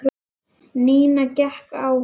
Nína hékk á honum.